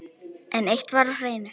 En eitt var á hreinu.